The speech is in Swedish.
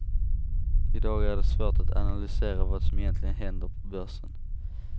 I dag är det svårt att ananlysera vad som egentligen händer på börsen.